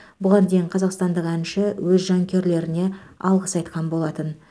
бұған дейін қазақстандық әнші өз жанкүйерлеріне алғыс айтқан болатын